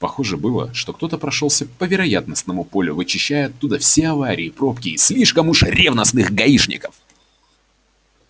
похоже было что кто-то прошёлся по вероятностному полю вычищая оттуда все аварии пробки и слишком уж ревностных гаишников